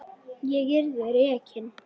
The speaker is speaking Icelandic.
Ég yrði rekin.